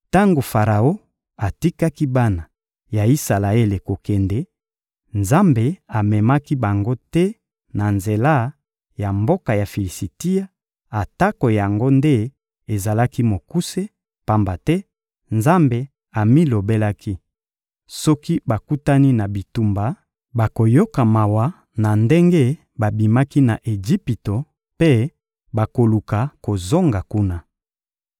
Tango Faraon atikaki bana ya Isalaele kokende, Nzambe amemaki bango te na nzela ya mboka ya Filisitia atako yango nde ezalaki mokuse, pamba te Nzambe amilobelaki: «Soki bakutani na bitumba, bakoyoka mawa na ndenge babimaki na Ejipito mpe bakoluka kozonga kuna.»